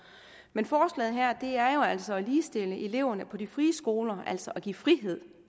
men forslaget her her er jo altså at ligestille eleverne på de frie skoler og altså give frihed